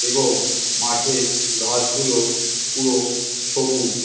এবং মাঠের ঘাসগুলো পুরো সবুজ ।